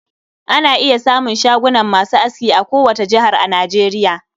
Ana iya samun shagunan masu aski a ko wata jihar a Nageriya.